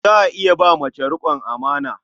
Za a iya ba mace riƙon amana.